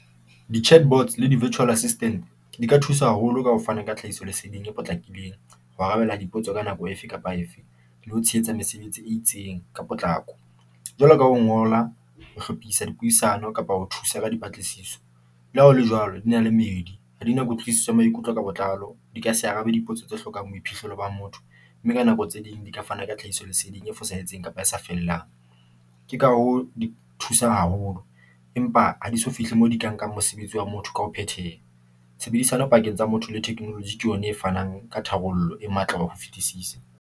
Di-chatbots le di-virtual assistant di ka thusa haholo ka ho fana ka tlhahiso leseding e potlakileng, ho arabela dipotso ka nako efe kapa efe, le ho tshehetsa mesebetsi e itseng ka potlako jwalo ka ho ngola, ho hlophisa, dipuisano kapa ho thusa ka dipatlisiso. Le ha ho le jwalo, di na le meedi ha di na kutlwisiso ya maikutlo ka botlalo di ka se arabe. Dipotso tse hlokang boiphihlelo ba motho mme ka nako tse ding di ka fana ka tlhahiso leseding e fosahetseng kapa e sa fellang. Ke ka ha ho di thusang haholo empa ha di so fihle moo di ka nkang mosebetsi wa motho ka ho phethela. Tshebedisano pakeng tsa motho le technology ke yona e fanang ka tharollo e matla ka ho fetisisa.